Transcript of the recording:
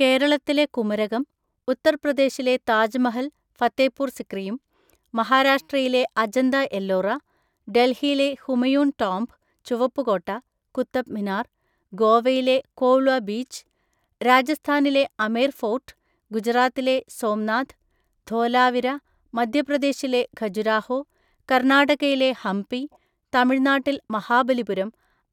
കേരളത്തിലെ കുമരകം, ഉത്തർപ്രദേശിലെ താജ്മഹൽ, ഫത്തേപ്പൂർ സിക്രിയും, മഹാരാഷ്ട്രയിലെ അജന്ത എല്ലോറ, ഡൽഹിയിലെ ഹൂമയൂൺ ടോംമ്പ്, ചുവപ്പ് കോട്ട, കുത്തബ് മിനാർ, ഗോവയിലെ കോള്വ ബീച്ച്, രാജസ്ഥാനിലെ അമേർ ഫോർട്ട്, ഗുജറാത്തിലെ സോംനാഥ്, ധോലാവിര, മദ്ധ്യപ്രദേശിലെ ഖജുരാഹോ, കർണ്ണാടകയിലെ ഹംപി, തമിഴ് നാട്ടിൽ മഹാബലിപുരം,